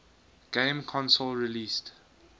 game console released